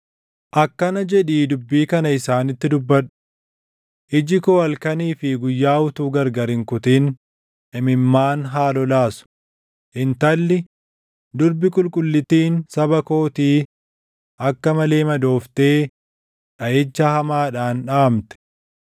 “Akkana jedhii dubbii kana isaanitti dubbadhu: “ ‘Iji koo halkanii fi guyyaa utuu gargar hin kutin imimmaan haa lolaasu; intalli, Durbi Qulqullittiin saba kootii akka malee madooftee dhaʼicha hamaadhaan dhaʼamte.